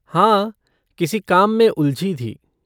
हाँ, किसी काम में उलझी थी।